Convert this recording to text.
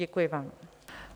Děkuji vám.